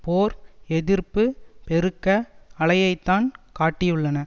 போர் எதிர்ப்பு பெருக்க அலையைத்தான் காட்டியுள்ளன